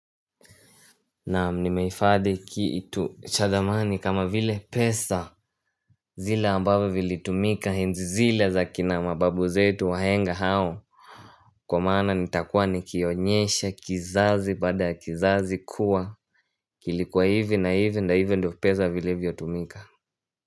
Naam, nimehifadhi kitu cha thamani kama vile pesa zile ambavyo vilitumika enzi zile za kina mababu zetu wahenga hao. Kwa maana nitakuwa nikionyesha kizazi baada kizazi kuwa kilikuwa hivi na hivi na hivyo ndio pesa vilivyotumika.